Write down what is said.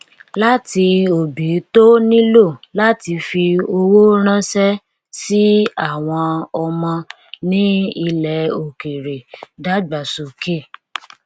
láti òbí tó nílò láti fi owó ránṣẹ sí àwọn ọmọ ní ilẹ òkèèrè dágbàsókè